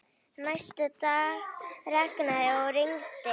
Næsta dag rigndi og rigndi.